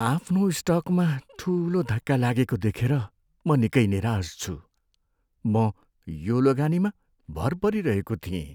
आफ्नो स्टकमा ठुलो धक्का लागेको देखेर म निकै निराश छु। म यो लगानीमा भर परिरहेको थिएँ।